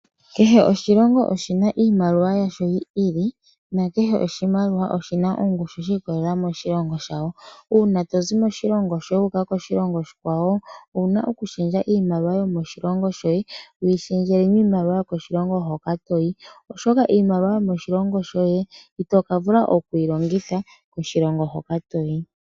Kehe oshilongo oshi na iimaliwa yasho yi ili, no kehe oshimaliwa oshina ongushu shi ikololela moshilongo shawo. Uuna tozi moshilongo shoye wuuka koshilongo oshi kwawo, owuna oku lundulula iimaliwa yomoshilongo shoye wiilundululile yomoshilongo moka toyi, oshoka iimaliwa yomoshilongo shoye ito kavula okwiilongitha koshilongo hoka to yi.